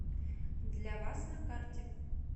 для вас на карте